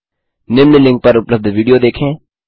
निम्न लिंक पर उपलब्ध विडियो देखें